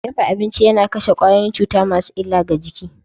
Dafa abinci yana kashe kwayoyin cuta masu illa ga jiki.